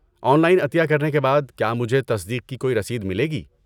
On line عطیہ کرنے کے بعد کیا مجھے تصدیق کی کوئی رسید ملے گی؟